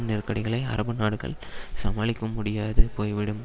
நெருக்கடிகளை அரபு நாடுகள் சமாளிக்கும் முடியாது போய்விடும்